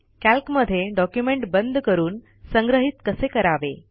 कॅल्कमधे document बंद करून संग्रहित कसे करावे